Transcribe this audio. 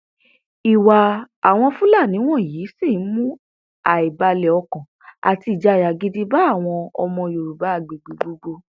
ìwà àwọn fúlàní wọnyí sì ń mú àìbalẹọkàn àti ìjayà gidi bá àwọn ọmọ yorùbá agbègbè gbogbo